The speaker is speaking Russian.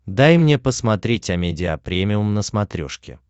дай мне посмотреть амедиа премиум на смотрешке